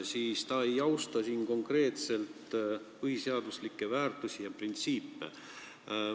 Muidu ta ei austa siin konkreetselt põhiseaduslikke väärtusi ja printsiipe.